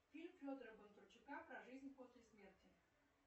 фильм федора бондарчука про жизнь после смерти